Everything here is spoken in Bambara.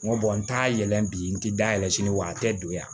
N ko n t'a yɛlɛ bi n ti da yɛlɛ sini wa a tɛ don yan